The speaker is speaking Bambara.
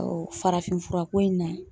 farafin fura ko in na